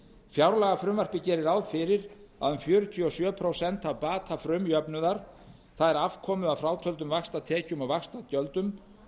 fjárlagafrumvarpið gerir ráð fyrir að um fjörutíu og sjö prósent af bata frumjöfnuðar það er afkomu að frátöldum vaxtatekjum og vaxtagjöldum